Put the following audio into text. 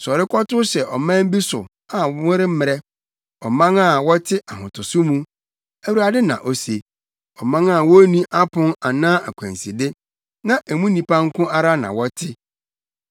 “Sɔre kɔtow hyɛ ɔman bi so a woremmrɛ, ɔman a wɔte ahotoso mu,” Awurade na ose, “ɔman a wonni apon anaa akwanside; na emu nnipa nko ara na wɔte.